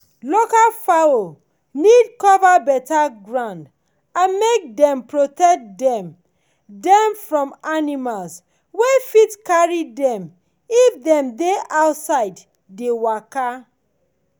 local fowl need cover better ground and make dem protect dem dem from animals wey fit come carry dem if dem dey outside dey waka.